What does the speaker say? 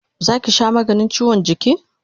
Zo ki sha maganin chiwon jiki!